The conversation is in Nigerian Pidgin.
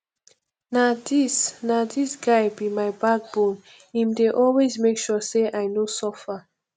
na dis na dis guy be my backbone im dey always make sure sey i no suffer